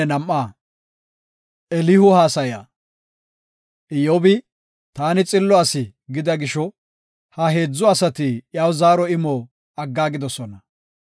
Iyyobi, “Taani xillo asi” gida gisho, ha heedzu asati iyaw zaaro imo aggaagidosona.